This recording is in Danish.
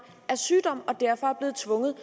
af sygdom og som derfor er blevet tvunget